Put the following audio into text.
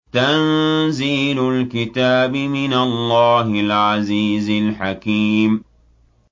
تَنزِيلُ الْكِتَابِ مِنَ اللَّهِ الْعَزِيزِ الْحَكِيمِ